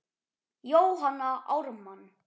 Jóhanna Ármann.